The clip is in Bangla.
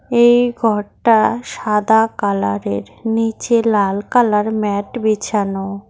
এই ঘরটা সাদা কালারের নীচে লাল কালার ম্যাট বেছানো।